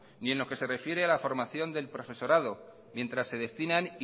ni en lo que se refiere a la formación del profesorado mientras se destinan